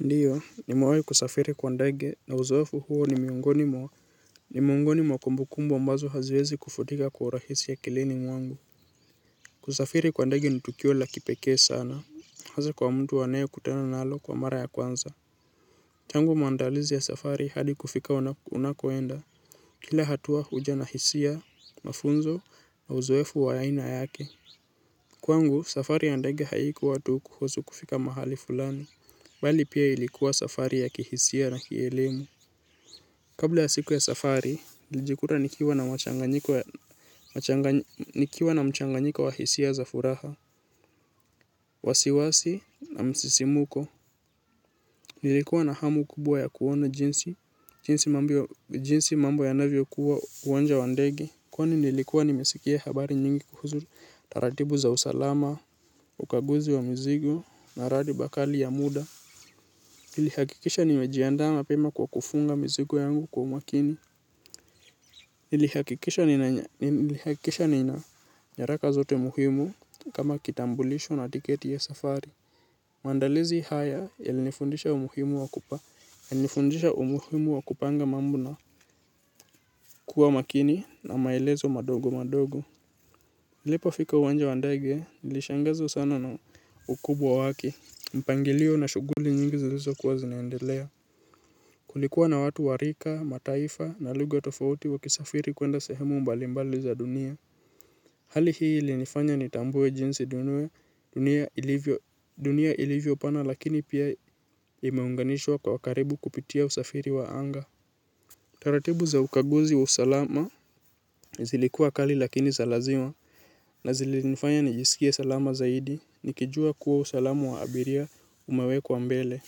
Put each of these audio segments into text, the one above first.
Ndiyo, nimewahi kusafiri kwa ndege na uzoefu huo ni miongoni mwa ni miongoni mwa kumbukumbu ambazo haziwezi kufutika kwa urahisi akilini mwangu kusafiri kwa ndege ni tukio la kipekee sana hasa kwa mtu anae kutana nalo kwa mara ya kwanza tangu maandalizi ya safari hadi kufika unako enda. Kila hatua huja na hisia, mafunzo, na uzoefu wa aina yake. Kwangu, safari ya ndege haikuwa tu kuhusu kufika mahali fulani bali pia ilikuwa safari ya kihisia na kielemu. Kabla ya siku ya safari, nilijikuta nikiwa na mchanganyiko wa hisia za furaha, wasiwasi na msisimuko. Nilikuwa na hamu kubwa ya kuona jinsi, jinsi mambo ya navyo kua uwanja wa ndege. Kwani nilikuwa nimesikia habari nyingi kuhusu, taratibu za usalama, ukaguzi wa mzigo, na radi bakali ya muda. Nilihakikisha nimejiandaa mapema kwa kufunga mizigo yangu kwa umakini. Nilihakikisha nina nyaraka zote muhimu kama kitambulisho na tiketi ya safari. Maandalizi haya yali nifundisha umuhimu wa kupanga mambo na kuwa makini na maelezo madogo madogo. Nilipo fika uwanja wa ndege nilishangazwa sana na ukubwa wake. Mpangilio na shughuli nyingi zilizo kuwa zinaeendelea. Kulikuwa na watu warika, mataifa na lugha tofauti waki safiri kwenda sehemu mbalimbali za dunia. Hali hii ilinifanya ni tambue jinsi dunia ilivyo pana lakini pia imeunganishwa kwa karibu kupitia usafiri wa anga. Taratibu za ukaguzi wa usalama zilikuwa kali lakini za lazima. Na zilinifanya nijisikie salama zaidi nikijua kuwa usalama wa abiria ume wekwa mbele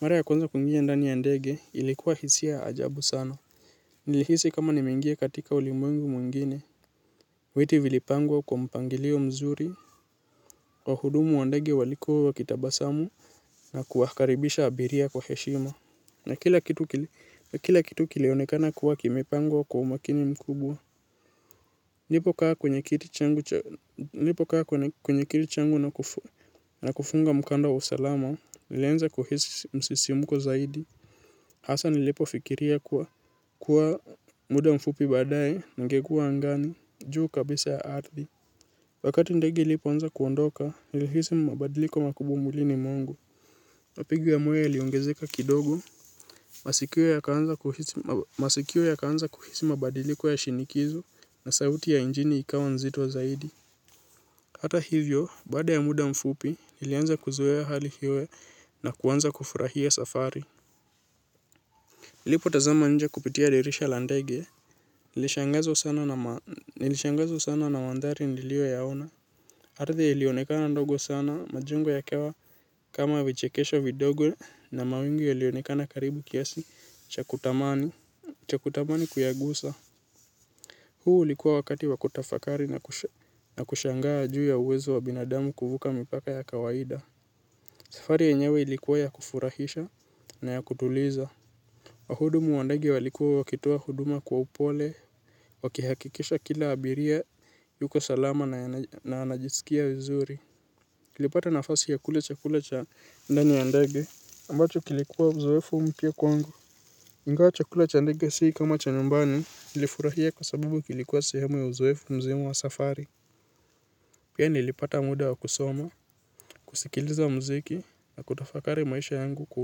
mara ya kwanza kuingia ndani ya ndege ilikua hisia ya ajabu sana. Nilihisi kama nimeingia katika ulimwengu mwingine. Witi vilipangwa kwa mpangilio mzuri. Wahudumu wa ndege walikuwa wakitabasamu na kuwakaribisha abiria kwa heshima na kila kitu kileonekana kuwa kimepangwa kwa umakini mkubwa. Nilipo kaa kwenye kiti changu na kufunga mkanda wa usalama nilianza kuhisi msisimuko zaidi. Hasa nilipo fikiria kuwa muda mfupi badaye ningekua angani, juu kabisa ya ardhi. Wakati ndege ilipo anza kuondoka, nilihisi mabadiliko makubwa mwilini mwangu. Mapigo ya moyo yaliongezeka kidogo, masikio ya kaanza kuhisi mabadiliko ya shinikizo na sauti ya injini ikawa nzito zaidi. Hata hivyo, baada ya muda mfupi, nilianza kuzoea hali hiyo na kuanza kufurahia safari. Nilipo tazama nje kupitia dirisha la ndege ya nilishangazwa sana na mandhari nilio yaona ardhi ilionekana ndogo sana majengo ya kawa kama vichekesho vidogo na mawingu yalionekana karibu kiasi cha kutamani kuyagusa. Huu likuwa wakati wa kutafakari na kushangaa juu ya uwezo wa binadamu kuvuka mipaka ya kawaida. Safari yenyewe ilikuwa ya kufurahisha na ya kutuliza. Wahudumu wa ndege walikuwa wakitoa huduma kwa upole waki hakikisha kila abiria yuko salama na anajisikia wizuri tulipata nafasi ya kula chakula cha ndani wa ndege ambacho kilikuwa uzoefu mpya kwangu. Ingawa chakula cha ndege sii kama cha nyumbani nilifurahia kwa sababu kilikuwa sehemu ya uzoefu mzima wa safari. Pia nilipata muda wa kusoma kusikiliza mziki na kutafakari maisha yangu kwa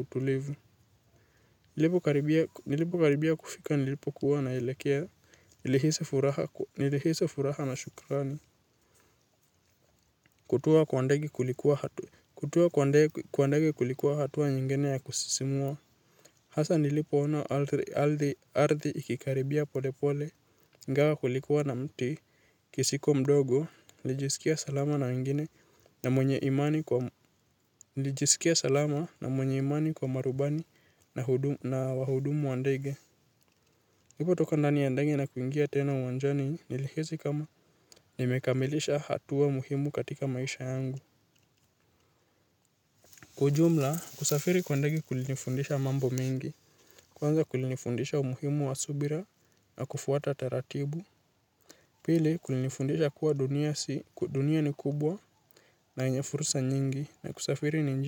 utulivu. Nilipo karibia kufika nilipo kuwa naelekea nilihisi furaha na shukurani. Kutua kwa ndege kulikuwa hatua. Kutua kwa ndege kulikuwa hatua nyingine ya kusisimua. Hasa nilipoona ardhi ikikaribia polepole igawa kulikuwa na mtikisiko mdogo nilijisikia salama na mengine na mwenye imani kwa marubani na wahudumu wa ndege nilipo toka ndani ya ndege na kuingia tena uwanjani nilihisi kama nimekamilisha hatua muhimu katika maisha yangu. Kwa ujumla kusafiri kwa ndege kulinifundisha mambo mengi kwanza kulinifundisha umuhimu wa subira na kufuata taratibu. Pili kulinifundisha kuwa dunia si kudunia ni kubwa na yenye fursa nyingi na kusafiri ni njia.